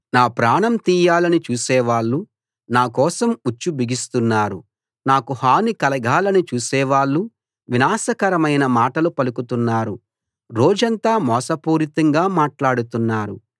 నా ప్రాణం తీయాలని చూసేవాళ్ళు నా కోసం ఉచ్చు బిగిస్తున్నారు నాకు హాని కలగాలని చూసేవాళ్ళు వినాశకరమైన మాటలు పలుకుతున్నారు రోజంతా మోసపూరితంగా మాట్లాడుతున్నారు